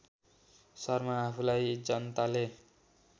शर्मा आफूलाई जनताले